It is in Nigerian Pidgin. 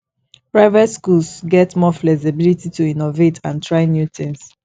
private schools get more flexibility to innovate and try new things